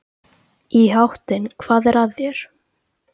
Í háttinn, hvað er að þér?